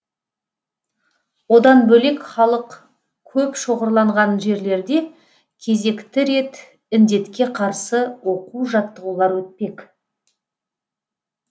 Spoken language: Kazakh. одан бөлек халық көп шоғырланған жерлерде кезекті рет індетке қарсы оқу жаттығулар өтпек